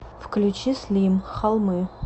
включи слим холмы